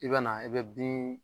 I bɛ na i bɛ bin